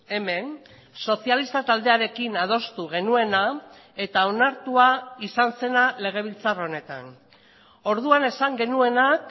hemen sozialista taldearekin adostu genuena eta onartua izan zena legebiltzar honetan orduan esan genuenak